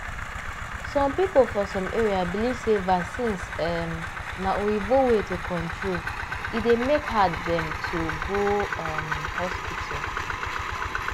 some people for some area believe sey vaccines um na oyibo way to control e dey make hard dem to go um hospital.